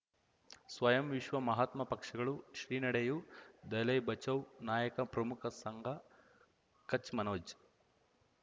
ಸ್ವಯಂ ವಿಶ್ವ ಮಹಾತ್ಮ ಪಕ್ಷಗಳು ಶ್ರೀ ನಡೆಯೂ ದಲೈ ಬಚೌ ನಾಯಕ ಪ್ರಮುಖ ಸಂಘ ಕಚ್ ಮನೋಜ್